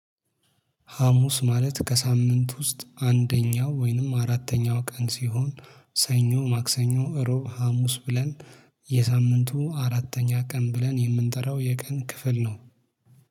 ሀሙስ ማለት ከሳምንት ውስጥ አንደኛው ወይንም አራተኛው ቀን ሲሆን ሰኞ ማክሰኞ ረቡዕ ሀሙስ ብለን የሳምንቱ አራተኛ ቀን ብለን የምንጠራው የቀን ክፍል ነው